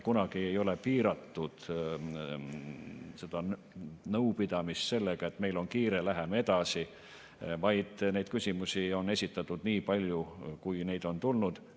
Kunagi ei ole piiratud seda nõupidamist sellega, et meil on kiire, läheme edasi, vaid neid küsimusi on esitatud nii palju, kui neid on tulnud.